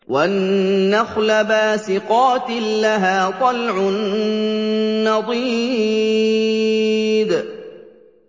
وَالنَّخْلَ بَاسِقَاتٍ لَّهَا طَلْعٌ نَّضِيدٌ